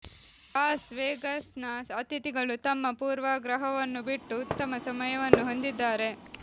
loss ವೆಗಾಸ್ನ ಅತಿಥಿಗಳು ತಮ್ಮ ಪೂರ್ವಾಗ್ರಹವನ್ನು ಬಿಟ್ಟು ಉತ್ತಮ ಸಮಯವನ್ನು ಹೊಂದಿದ್ದಾರೆ